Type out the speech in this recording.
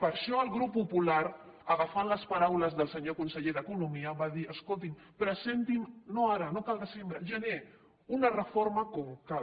per això el grup popular agafant les paraules del senyor conseller d’economia va dir escoltin presentin no ara no cal al desembre al gener una reforma com cal